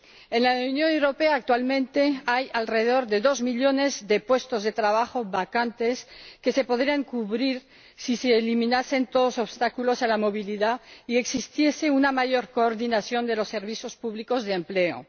En la Unión Europea actualmente hay alrededor de dos millones de puestos de trabajo vacantes que se podrían cubrir si se eliminasen todos los obstáculos a la movilidad y existiese una mayor coordinación de los servicios públicos de empleo.